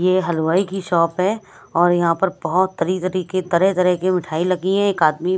ये हलवाई की शॉप है और यहां पर बहोत तरी तरीके की तरह तरह की मिठाई लगी है एक आदमी--